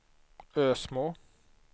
Ösmo